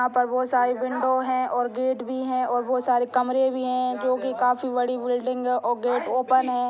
यहाँ पर बहुत सारे विंडो हैं और गेट भी हैं और बहुत सारे कमरे भी हैं जो की काफी बड़ी बिल्डिंग है और गेट ओपेन है।